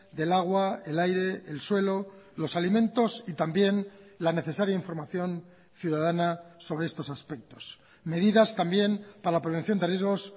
del agua el aire el suelo los alimentos y también la necesaria información ciudadana sobre estos aspectos medidas también para la prevención de riesgos